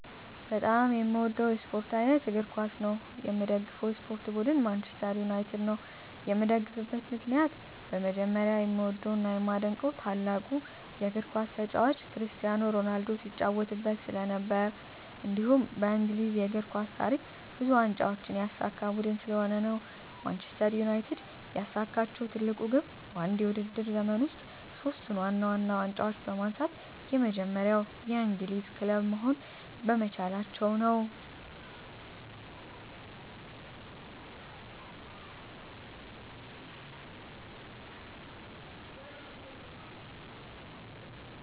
በጣም የምዎደው የስፖርት አይነት እግር ኳስ ነው። የምደግፈው የስፖርት ቡድን ማንችስተር ዩናይትድ ነው። የምደግፍበት ምክንያት በመጀመሪያ የምዎደው እና የማደንቀው ታላቁ የግር ኳስ ተጫዋች ክርስቲያኖ ሮናልዶ ሲጫዎትበት ስለነበር። እንዲሁም በእንግሊዝ የእግር ኳስ ታሪክ ብዙ ዋንጫዎችን ያሳካ ቡድን ስለሆነ ነው። ማንችስተር ዩናይትድ ያሳካችው ትልቁ ግብ በአንድ የውድድር ዘመን ውስጥ ሶስቱን ዋና ዋና ዋንጫዎች በማንሳት የመጀመሪያው የእንግሊዝ ክለብ መሆን በመቻላቸው ነው።